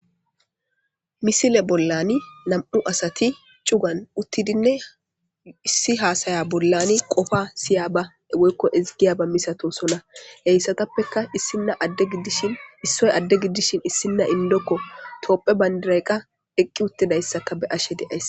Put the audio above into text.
misile bollani nam7u asati cugan uttidinne issi haasaya bollani qofa siya ba woykko ezigiyaba misato sona heyssatappeka issinna adde giddishin issoy adde giddishin issinna indokko toopphe bayndirayqa eqqi uttidayssaka be ashe deays